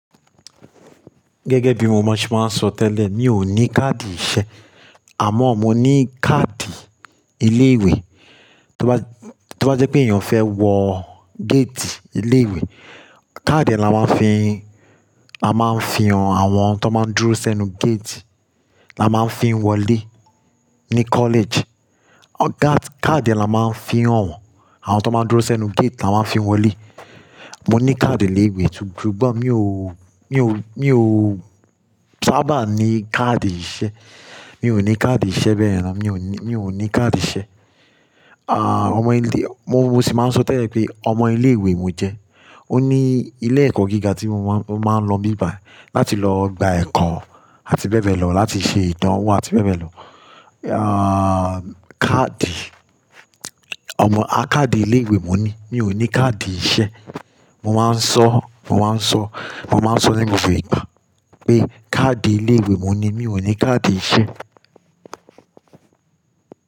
Gẹ́gẹ́ bí mo máa ń ṣe máa ń sọ tẹ́lẹ̀, mi ò ní káàdì iṣẹ́ àmọ́ mo ní káàdì ilé ìwé. To bá, to bá jẹ́ pé èèyàn fẹ́ wọ géètì ilé ìwé, káàdì là máa fi ń, à máa ń fi hàn àwọn tó máa ń dúró sẹ́nu géètì là máa ń fi ń wọlé ní kọ́lẹ́ẹ̀jì. Káàdì yẹn là máa ń fi hàn wọ́n, àwọn tán máa ń dúró sẹ́nu géètì là máa ń fi ń wọlé. Mo ní káàdì ilé ìwé sugbon mi ò, mi ò, mi ò sábà ní káàdì iṣẹ́. Mi ò ní káàdì iṣẹ́ bẹ́ẹ̀ ni, mi ò ní, mi ò ní káàdì iṣẹ́. Ọmọ ilé, mo sì máa ń sọ tẹ́lẹ̀ pé ọmọ ilé ìwé mo jẹ́. Ó ní ilé ẹ̀kọ́ gíga tí mo máa ń, mo máa ń lọ n bi bai láti lọ gba ẹ̀kọ́ àti bẹ́ẹ̀ bẹ́ẹ̀ lọ, láti ṣe ìdánwò àti bẹ́ẹ̀ bẹ́ẹ̀ lọ. Káàdì, ọmọ a káàdì ilé ìwé mo ní, mi ò ní káàdì iṣẹ́. Mo máa ń sọ, mo máa ń sọ, mo máa ń sọ nínú bi, pé káàdì ilé ìwé mo ní, mi ò ní káàdì iṣẹ́